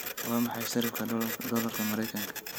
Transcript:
Waa maxay sarifka doolarka maraykanka?